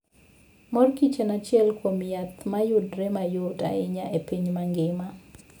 Mor Kich en achiel kuom yath ma yudore mayot ahinya e piny mangima.